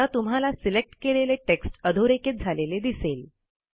आता तुम्हाला सिलेक्ट केलेले टेक्स्ट अधोरेखित झालेले दिसेल